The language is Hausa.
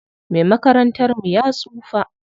Me makarantar mu ya tsufa.